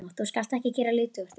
Þú skalt ekki gera lítið úr því.